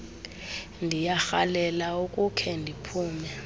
ndiyarhalela ukukhe ndiphume